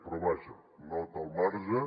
però vaja nota al marge